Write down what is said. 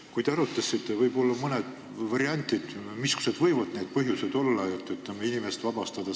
Kui te seda arutasite, siis võib-olla toote mõned variandid, missugused võivad olla põhjused, et inimest sellest raha tagastamisest vabastada.